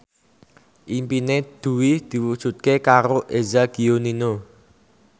impine Dwi diwujudke karo Eza Gionino